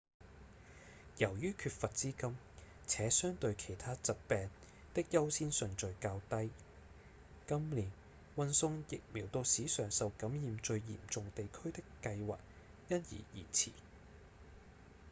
由於缺乏資金且相對其他疾病的優先順序較低今年運送疫苗到史上受感染最嚴重地區的計劃因而延遲